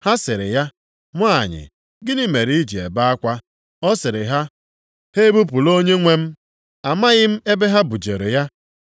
Ha sịrị ya, “Nwanyị, gịnị mere i ji ebe akwa?” Ọ sịrị ha, “Ha ebupụla Onyenwe m, amaghị m ebe ha bujere ya.”